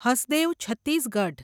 Hasdeo Chhattisgarh